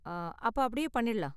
அ அப்ப அப்படியே பண்ணிடலாம்.